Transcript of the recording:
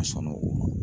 A sɔnna o